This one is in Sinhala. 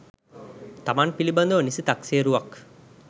තමන් පිළිබඳව නිසි තක්සේරුවක්